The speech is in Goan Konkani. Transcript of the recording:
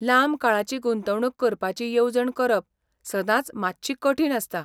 लांब काळाची गुंतवणूक करपाची येवजण करप सदांच मात्शी कठीण आसता.